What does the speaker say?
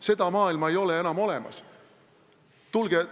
Seda maailma ei ole enam olemas.